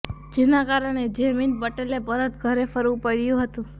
જેના કારણે જૈમિન પટેલે પરત ઘરે ફરવું પડ્યું હતું